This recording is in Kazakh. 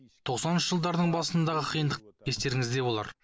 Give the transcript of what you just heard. тоқсаныншы жылдардың басындағы қиындық естеріңізде болар